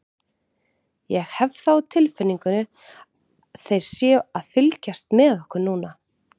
Ég hef það á tilfinningunni þeir séu að fylgjast með okkur núna.